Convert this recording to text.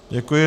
Děkuji.